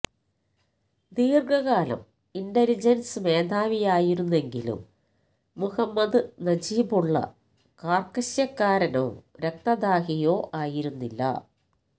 ദീർഘകാലം ഇന്റലിജൻസ് മേധാവിയായിരുന്നെങ്കിലും മുഹമ്മദ് നജീബുല്ല കാർക്കശ്യക്കാരനോ രക്തദാഹിയോ ആയിരുന്നില്ല